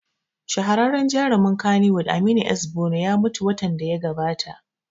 Shahararren jarumin kannywood Aminu S Bono ya mutu watan da ya gabata